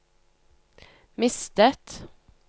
mistet